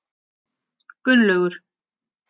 Gunnlaugur